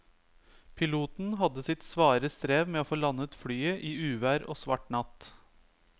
Piloten hadde sitt svare strev med å få landet flyet i uvær og svart natt.